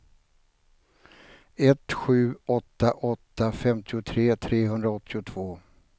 ett sju åtta åtta femtiotre trehundraåttiotvå